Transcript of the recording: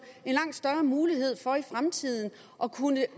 langt større mulighed for i fremtiden at kunne